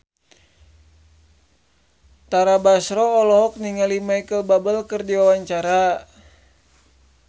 Tara Basro olohok ningali Micheal Bubble keur diwawancara